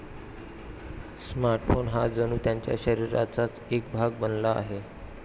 Smartphone हा जणू त्यांच्या शरीराचाच एक भाग बनला आहे.